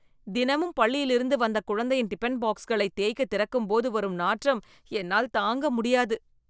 தினமும் பள்ளி யிலிருந்து வந்த குழந்தையின் டிபன் பாக்ஸ்களை தேய்க்கத் திறக்கும் போது வரும் நாற்றம் என்னால் தாங்க முடியாது